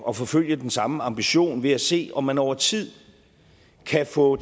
at forfølge den samme ambition ved at se om man over tid kan få